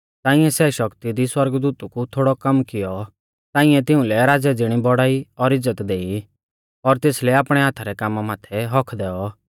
ताइंऐ सै शक्ति दी सौरगदूतु कु थोड़ौ कम कियौ ताइंऐ तिउंलै राज़ै ज़िणी बौड़ाई और इज़्ज़त देई और तेसलै आपणै हाथा रै कामा माथै हक्क्क दैऔ